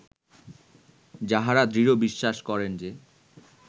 যাঁহারা দৃঢ় বিশ্বাস করেন যে